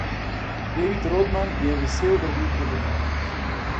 David Rodman je vesel vrnitve domov.